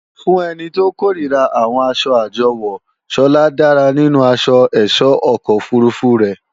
Fún ẹni tó kòríra àwọn asọ àjọwò, Sọlá dára nínú asọ ẹ̀sọ́ ọkọ̀ òfurufú rẹ̀